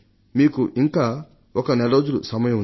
మీకు ఇంకా ఒక నెల రోజులు సమయం ఉంది